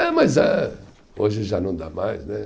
É, mas eh, hoje já não dá mais, né?